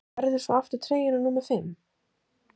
Færðu svo aftur treyjuna númer fimm?